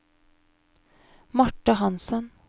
Marte Hansen